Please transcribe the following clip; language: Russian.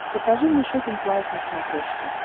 покажи мне шоппинг лайф на смотрешке